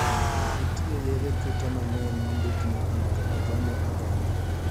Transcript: Nitie yedhe kute mangeny mondik ni onego ogone oganda.